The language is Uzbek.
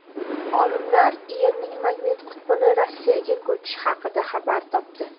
Olimlar Yerning magnit qutbini Rossiyaga ko‘chishi haqida xabar topdi.